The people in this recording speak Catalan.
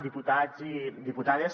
diputats i diputades